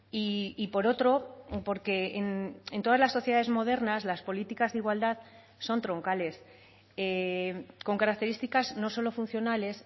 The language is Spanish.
y por otro porque en todas las sociedades modernas las políticas de igualdad son troncales con características no solo funcionales